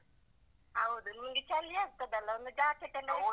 ಹೌದು ನಿನ್ಗೆ ಚಳಿ ಆಗ್ತದೆ ಅಲ್ಲ ಒಂದು jacket ಅನ್ನ.